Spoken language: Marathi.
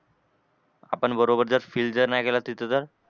आपण बरोबर जर fill जर नाही केला तिथं तर?